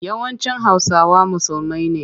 Yawancin Hausawa musulmai ne.